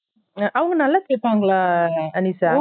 அவங்க நல்லா தெப்பாங்களா அனிதா